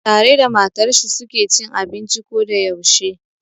Tare da matar shi su ke cin abinci ko da yaushe.